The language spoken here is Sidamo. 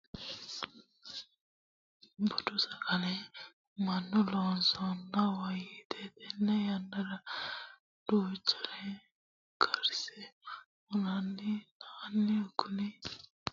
Budu sagale mannu loosano woyte tene yannara duuchare karse hunanna la'nanni ,koni albaani ninke anfuummo gede ikkiro shaafettate giddo maala diworanni, shaafetta qansanni woyte lalu buuro worranni xa babbaxxinore karsinanna la'na albihu faale hunanori ikka hoogiro